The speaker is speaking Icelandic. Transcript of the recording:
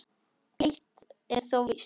Eitt er þó víst.